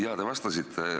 Jah, te vastasite.